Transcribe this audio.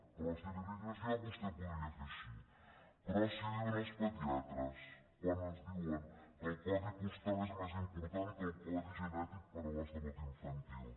però si li ho digués jo vostè ho podria fer així però i si ho di·uen els pediatres quan ens diuen que el codi postal és més important que el codi genètic per a la salut in·fantil